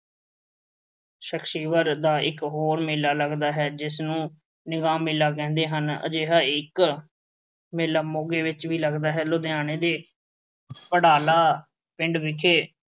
ਇੱਕ ਹੋਰ ਮੇਲਾ ਲੱਗਦਾ ਹੈ ਜਿਸਨੂੰ ਮੇਲਾ ਕਹਿੰਦੇ ਹਨ। ਅਜਿਹਾ ਇੱਕ ਮੇਲਾ ਮੋਗੇ ਵਿੱਚ ਵੀ ਲੱਗਦਾ ਹੈ। ਲੁਧਿਆਣੇ ਦੇ ਘੜਾਲਾ ਪਿੰਡ ਵਿਖੇ